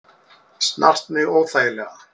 Snart mig óþægilega.